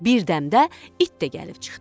Birdəmdə it də gəlib çıxdı.